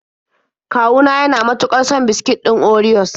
Kawu na yana mutuƙar son biskit ɗin orios.